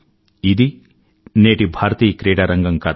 ఇది నేటి భారతీయ క్రీడారంగం కథ